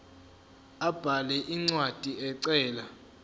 abhale incwadi ecela